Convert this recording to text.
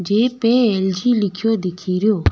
जे पे एलजी लिखी दिखेरो।